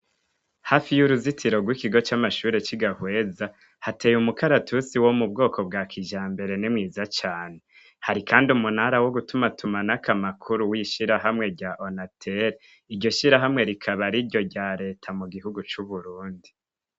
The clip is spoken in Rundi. Hafi y’uruzitiro rw ‘Ikigo c’amashure y’i Gahweza, hatey’umukaratusi wo mubwoko bwa kijambere ni mwiza cane . Hari kand’umunara wo gutuma tumanakw’amakuru w’ishirahamwe rya ONATEL. Iryo shirahamwe rikabar’iryo rya Leta mugihugu c’Uburundi.